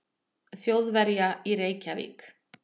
Þjóðverja í Reykjavík.